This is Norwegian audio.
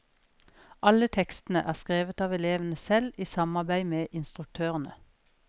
Alle tekstene er skrevet av elevene selv, i samarbeid med instruktørene.